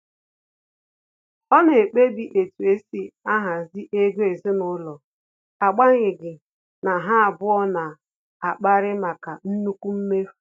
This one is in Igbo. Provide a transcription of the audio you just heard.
Ọ na-ekpebi etu esi ahazi ego ezinụlọ, agbanyeghi na ha abụọ na akpari maka nnukwu mmefu